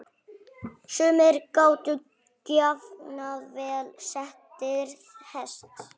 Sumir gátu jafnvel setið hest.